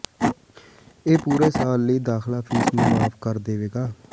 ਇਹ ਪੂਰੇ ਸਾਲ ਲਈ ਦਾਖ਼ਲਾ ਫ਼ੀਸ ਨੂੰ ਮੁਆਫ ਕਰ ਦੇਵੇਗਾ